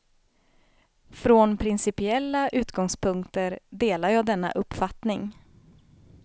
Från principiella utgångspunkter delar jag denna uppfattning.